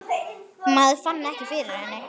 Maður fann ekki fyrir henni.